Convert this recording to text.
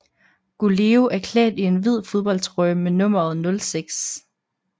Goleo er klædt i en hvid fodboldtrøje med nummeret 06